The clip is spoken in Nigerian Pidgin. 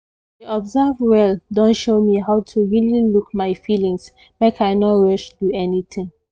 to observse well don show me how to really look my feelings make i no rush do anything